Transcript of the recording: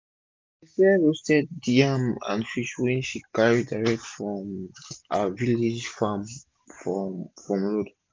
she dey sell roasted yam and fish wey she carry direct from her village farm for for road